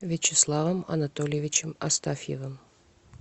вячеславом анатольевичем астафьевым